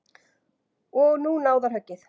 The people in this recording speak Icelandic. Og nú náðarhöggið.